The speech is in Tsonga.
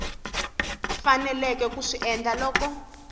faneleke ku swi endla loko